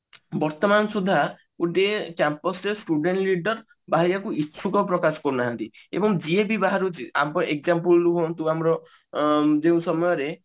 ବର୍ତମାନ ସୁଦ୍ଧା ଗୋଟିଏ Campus ରେ student leader ବାହାରି ବାକୁ ଇଛୁକ ପ୍ରକାଶ କରୁ ନାହାନ୍ତି ଏବଂ ଯିଏ ବି ବାହାରୁଛି ଆମ example ରୁହନ୍ତୁ ଆମର ଅ ଯୋଉ ସମୟରେ